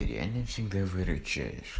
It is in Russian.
я не всегда выручаешь